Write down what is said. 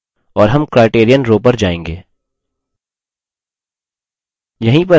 और हम criterion row पर जाएँगे